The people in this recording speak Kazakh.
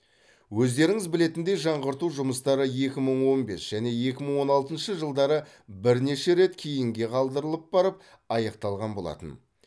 өздеріңіз білетіндей жаңғырту жұмыстары екі мың он бес және екі мың он алтыншы жылдары бірнеше рет кейінге қалдырылып барып аяқталған болатын